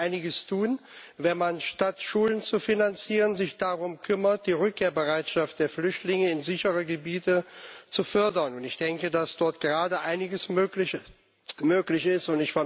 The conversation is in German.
Man könnte einiges tun, wenn man, statt Schulen zu finanzieren, sich darum kümmert, die Rückkehrbereitschaft der Flüchtlinge in sichere Gebiete zu fördern. Ich denke, dass dort gerade einiges möglich ist.